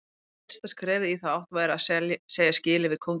Fyrsta skrefið í þá átt væri að segja skilið við kónginn.